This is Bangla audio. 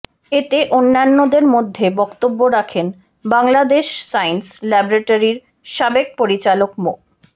এতে অন্যান্যদের মধ্যে বক্তব্য রাখেন বাংলাদেশ সায়েন্স ল্যাবরেটরীর সাবেক পরিচালক মো